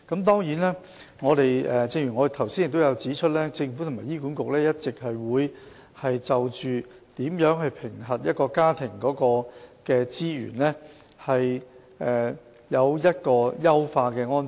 當然，正如我剛才指出，政府及醫管局會一直就如何評核一個家庭的財務資源，作出優化的安排。